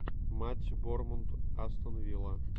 матч борнмут астон вилла